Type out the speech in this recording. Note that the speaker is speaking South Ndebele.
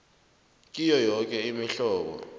kiyo yoke imihlobo